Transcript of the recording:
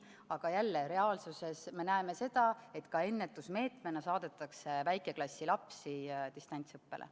Aga reaalsuses jälle me näeme seda, et ka ennetusmeetmena saadetakse väikeklassi lapsi distantsõppele.